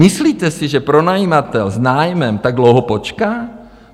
Myslíte si, že pronajímatel s nájmem tak dlouho počká?